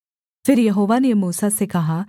फिर यहोवा ने मूसा से कहा